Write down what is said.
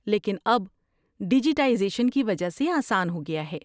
لیکن اب ڈیجیٹائزیشن کی وجہ سے آسان ہو گیا ہے۔